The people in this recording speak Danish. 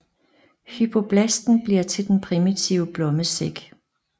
Hypoblasten bliver til den primitive blommesæk